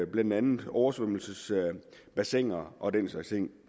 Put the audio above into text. blandt andet oversvømmelsesbassiner og den slags ting